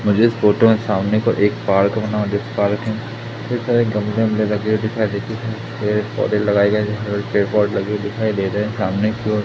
मुझे इस फोटो सामने की ओर एक पार्क बना पार्क में बहुत सारे गमले वामले लगे दिखाई देती है पेड़ पौधे पोट लगाए गए सामने की ओर--